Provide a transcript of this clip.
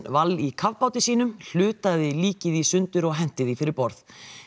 Wall í kafbáti sínum hlutaði líkið í sundur og henti því fyrir borð